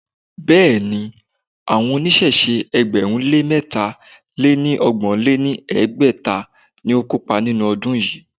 Béèni, àwọn oníṣẹ̀ṣe ẹgbẹ̀rún lé mẹ́ta lé ní ọgbọ̀n lé ní ẹgbẹ́ta ni ó kópa nínú ọdún yìí.